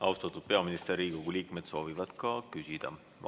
Austatud peaminister, Riigikogu liikmed soovivad ka küsida.